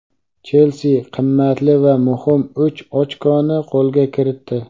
"Chelsi" qimmatli va muhim uch ochkoni qo‘lga kiritdi.